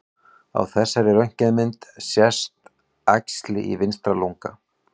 Á þessari röntgenmynd sést æxli í vinstra lunga.